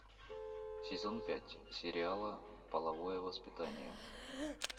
сезон пять сериала половое воспитание